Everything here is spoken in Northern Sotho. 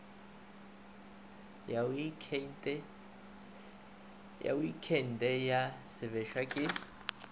ya oktheine ya sebešwa ke